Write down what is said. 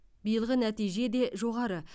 биылғы нәтижеде де жоғары